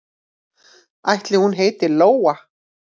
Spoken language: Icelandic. Ætli hún heiti Lóa?